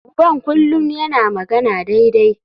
Uban kullum yana magana daidai.